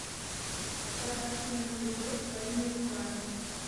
подарки на новый год своими руками